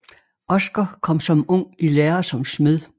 Oscar kom som ung i lære som smed